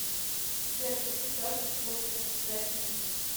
сбер какие газы склонны оседать ниже